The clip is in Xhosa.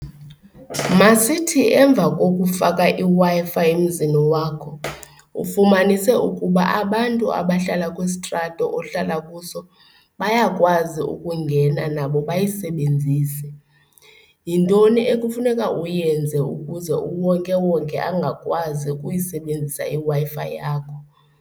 Masithi emva kokufaka iWi-Fi emzini wakho ufumanise ukuba abantu abahlala kwisitrato ohlala kuso bayakwazi ukungena nabo bayisebenzise. Yintoni ekufuneka uyenze ukuze ube wonke wonke angakwazi ukuyisebenzisa iWiFi yakho?